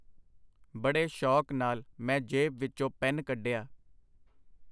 ਬੜੇ ਸ਼ੌਕ ਨਾਲ ਮੈਂ ਜੇਬ ਵਿਚੋਂ ਪੈੱਨ ਕਢਿਆ.